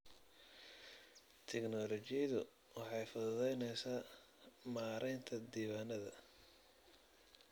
Tiknoolajiyadu waxay fududaynaysaa maaraynta diiwaannada.